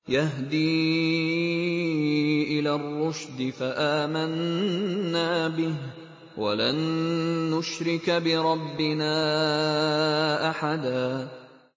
يَهْدِي إِلَى الرُّشْدِ فَآمَنَّا بِهِ ۖ وَلَن نُّشْرِكَ بِرَبِّنَا أَحَدًا